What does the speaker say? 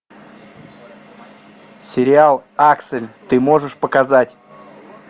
сериал аксель ты можешь показать